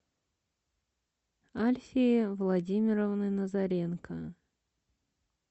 альфии владимировны назаренко